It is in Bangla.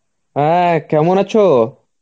হ্যাঁ, কেমন আছো?